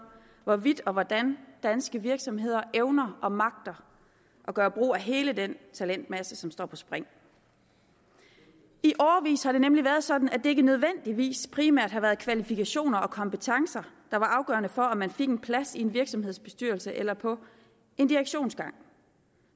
hvorvidt og hvordan danske virksomheder evner og magter at gøre brug af hele den talentmasse som står på spring i årevis har det nemlig været sådan at det ikke nødvendigvis primært har været kvalifikationer og kompetencer der var afgørende for om man fik en plads i en virksomhedsbestyrelse eller på en direktionsgang